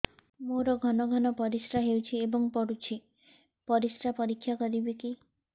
ମୋର ଘନ ଘନ ପରିସ୍ରା ହେଉଛି ଏବଂ ପଡ଼ୁଛି ପରିସ୍ରା ପରୀକ୍ଷା କରିବିକି